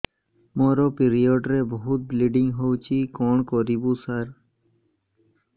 ମୋର ପିରିଅଡ଼ ରେ ବହୁତ ବ୍ଲିଡ଼ିଙ୍ଗ ହଉଚି କଣ କରିବୁ ସାର